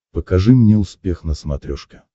покажи мне успех на смотрешке